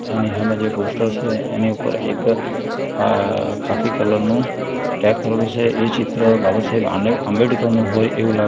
એની હામે જે પોસ્ટર છે એની ઉપર એક ખા ખાખી કલર નું કરેલું છે એ ચિત્ર બાબા સાહેબ આંડે આંબેડકરનું હોય એવું લાગે --